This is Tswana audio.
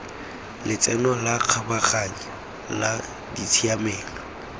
letseno la kgabaganyo la ditshiamelo